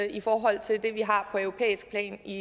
i forhold til det vi har på europæisk plan i